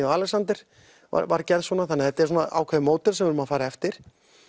og Alexander var gerð svona þetta er svona ákveðið módel sem við erum að fara eftir